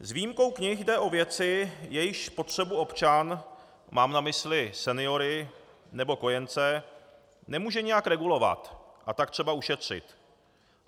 S výjimkou knih jde o věci, jejichž spotřebu občan, mám na mysli seniory nebo kojence, nemůže nijak regulovat, a tak třeba ušetřit.